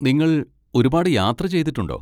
നിങ്ങൾ ഒരുപാട് യാത്ര ചെയ്തിട്ടുണ്ടോ?